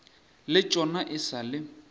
le tšona e sa le